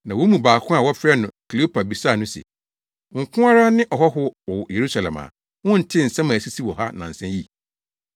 Na wɔn mu baako a wɔfrɛ no Kleopa bisaa no se, “Wo nko ara ne ɔhɔho a wowɔ Yerusalem a wontee nsɛm a asisi wɔ hɔ nnansa yi?”